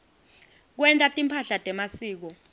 kwenta timphahla temasiko